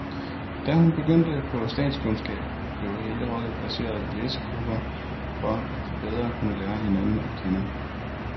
Da hun begyndte på statskundskab, blev hele holdet placeret i læsegrupper for, at de bedre kunne lære hinanden at kende.